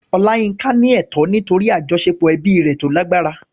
Olayinka ní ẹ̀tọ́ nítorí àjọṣepọ̀ ẹbí rẹ̀ tó lágbára.